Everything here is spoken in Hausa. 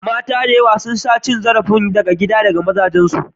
Mata da yawa sun sha cin zarafi na gida daga wurin mazajensu.